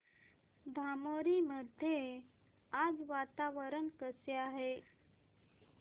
धामोरी मध्ये आज वातावरण कसे आहे